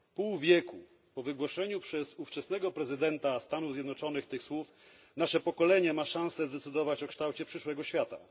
Pół wieku po wygłoszeniu przez ówczesnego prezydenta Stanów Zjednoczonych tych słów nasze pokolenie ma szansę zdecydować o kształcie przyszłego świata.